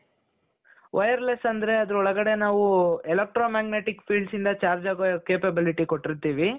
wireless ಅಂದ್ರೆ ಅದರ ಒಳಗಡೆ ನಾವು electro magnetic fieldsಯಿಂದ chargeable capability ಕೊಟ್ಟಿರ್ತೀವಿ.